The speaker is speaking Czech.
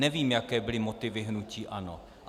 Nevím, jaké byly motivy hnutí ANO.